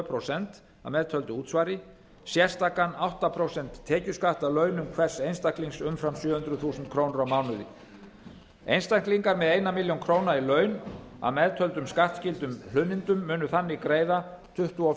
prósent að meðtöldu útsvari sérstakan átta prósent tekjuskatt af launum hvers einstaklings umfram sjö hundruð þúsund krónur á mánuði einstaklingur með einni milljón króna í laun að meðtöldum skattskyldum hlunnindum mun þannig greiða tuttugu og